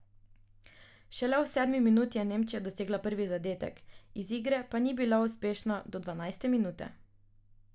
Šele v sedmi minuti je Nemčija dosegla prvi zadetek, iz igre pa ni bila uspešna do dvanajste minute!